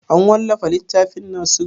An wallafa littafin nasiru?